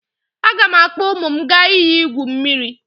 Aga m akpọ ụmụ m aga iyi igwu mmiri.